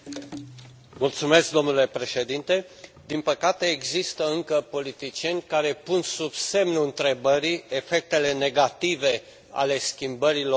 Domnule președinte, din păcate există încă politicieni care pun sub semnul întrebării efectele negative ale schimbărilor climatice.